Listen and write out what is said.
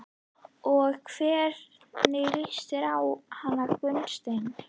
Og hvernig líst þér á hann Gunnsteinn?